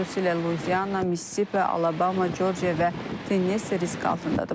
Xüsusilə Luiziana, Missisipi, Alabama, Corciya və Tennessi risk altındadır.